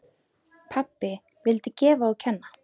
Pabbi vildi gefa og kenna.